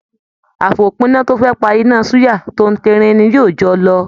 Àfòpína to fẹ pá iná suya, t'óun terin ní yóó jọ lọ.